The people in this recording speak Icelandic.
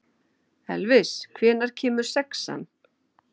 Elvis, hvenær kemur sexan?